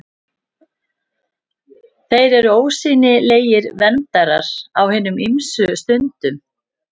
Þeir eru ósýnilegir verndarar á hinum ýmsu stundum.